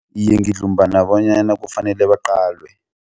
Iye, ngidlumbana bonyana kufanele baqalwe.